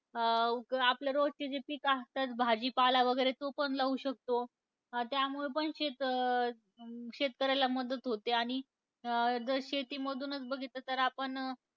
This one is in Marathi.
अं उक आपल्या रोजचे जे पिकं असतात, भाजीपाला वगैरे तो पण लाऊ शकतो. त्यामुळं पण शेत शेतकऱ्यांना मदत होते. आणि जर शेतीमधूनच बघितलं तर आपण,